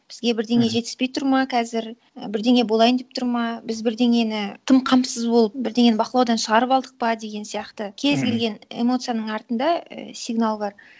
бізге бірдеңе жетіспей тұр ма қазір і бірдеңе болайын деп тұр ма біз бірдеңені тым қамсыз болып бірдеңені бақылаудан шығарып алдық па деген сияқты кез келген эмоцияның артында і сигнал бар